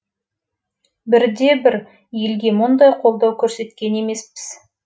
бірде бір елге мұндай қолдау көрсеткен емеспіз